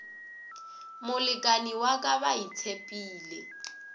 molekani wa ka ba itshepile